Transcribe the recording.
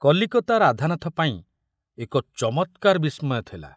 କଲିକତା ରାଧାନାଥ ପାଇଁ ଏକ ଚମତ୍କାର ବିସ୍ମୟ ଥିଲା।